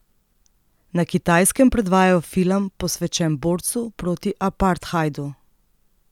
Na Kitajskem predvajajo film, posvečen borcu proti apartheidu.